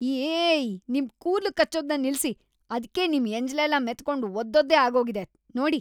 ಯೀಈ! ನಿಮ್ ಕೂದ್ಲು ಕಚ್ಚೋದ್ನ ನಿಲ್ಸಿ. ಅದ್ಕೆ ನಿಮ್ ಎಂಜ್ಲೆಲ್ಲ ಮೆತ್ಕೊಂಡು ಒದ್ದೊದ್ದೆ ಆಗೋಗಿದೆ, ನೋಡಿ.